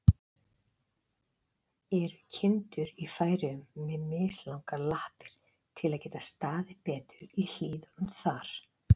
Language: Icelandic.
Eru kindur í Færeyjum með mislangar lappir, til að geta staðið betur í hlíðunum þar?